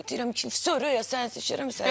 Deyirəm ki, vyo, Röya səni seçirəm, sənin yanına.